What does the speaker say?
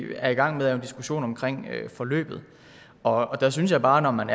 gang med er jo en diskussion omkring forløbet og der synes jeg bare at når man